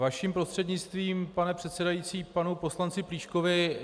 Vaším prostřednictvím, pane předsedající, panu poslanci Plíškovi.